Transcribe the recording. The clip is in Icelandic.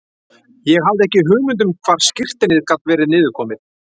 Ég hafði ekki hugmynd um hvar skírteinið gat verið niður komið.